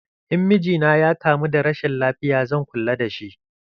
In miji na ya kamu da rashin lafiya zan kulla da shi.